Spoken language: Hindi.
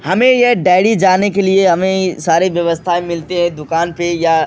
हमें ये डेयरी जाने के लिए हमें सारे व्यवस्था मिलती है दुकान पे या --